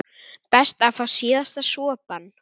Best að fá síðasta sopann.